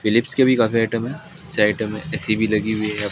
Philips के भी काफी आइटम हैं ऐसे आइटम है ए_सी भी लगी हुई है।